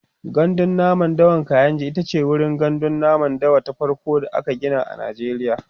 gandun namun dawan kainji itace wurin gandun namun dawa ta farko da aka Gina a najeriya